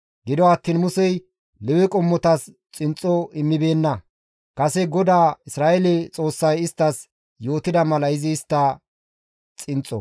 Gido attiin Musey Lewe qommotas xinxxo immibeenna; kase GODAA Isra7eele Xoossay isttas yootida mala izi istta xinxxo.